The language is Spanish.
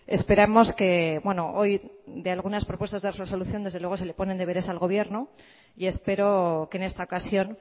esperamos que hoy de algunas propuestas de resolución se le ponen deberes al gobierno y espero que en esta ocasión